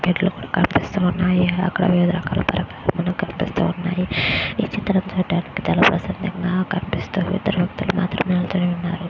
పెట్లు కనిపిస్తూ ఉన్నాయ్ ఎక్కడ ఎక్కడో వివిధ రకాలా పెట్టు మనకి కనిపిస్తూ ఉన్నాయ్ ఈ చిత్జ్రం లో చూడటానికి చాలా ప్రశాంతంగా కనిపిస్తుంది చూడటానికి ఇద్దరు వ్యక్తులు మాత్రమే ఇవతల ఉన్నారు.